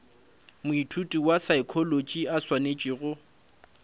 moithuti wa saekholotši a swanetšego